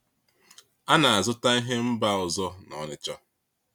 A na-azụta ihe mba ọzọ na Onitsha.